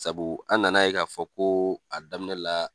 Sabu an nana ye k'a fɔ ko a daminɛ la